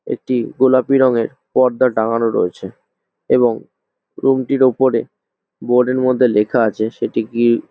একটি গোলাপি রঙের পর্দা টানানো রয়েছে এবং রুমটির ওপরে বোর্ডের মধ্যে লেখা আছে সেটি কি--